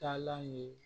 Taalan ye